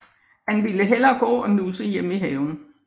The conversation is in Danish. Han ville hellere gå og nusse hjemme i haven